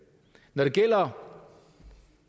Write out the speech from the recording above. når det gælder